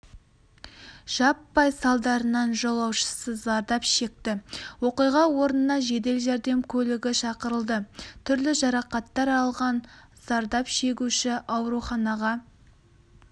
жаппай салдарынан жолаушысы зардап шекті оқиға орнына жедел-жәрдем көлігі шақырылды түрлі жарақаттар алған зардап шегуші ауруханаға